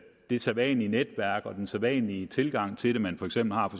det sædvanlige netværk den sædvanlige tilgang til det man for eksempel har